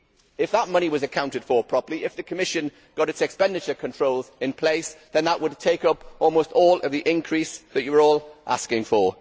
If that money was accounted for properly, if the Commission got its expenditure controls in place, then that would take up almost all of the increase that you are all asking for.